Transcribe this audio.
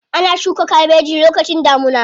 Ana shuka kabeji lokacin damuna.